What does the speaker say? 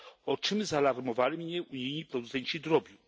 o czym zaalarmowali mnie unijni producenci drobiu.